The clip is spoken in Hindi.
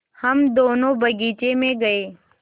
हम दोनो बगीचे मे गये